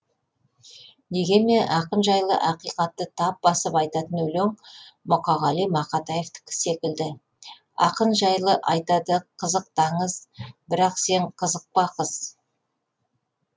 дегенмен ақын жайлы ақиқатты тап басып айтатын өлең мұқағали мақатаевтікі секілді ақын жайлы айтады қызықты аңыз бірақ сен қызықпа қыз